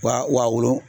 Wa wa wolo